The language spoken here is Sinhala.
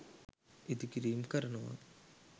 ඉදි කිරීම් කරනවා